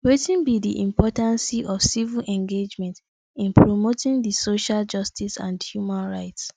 wetin be di importance of civic engagement in promoting di social justice and human rights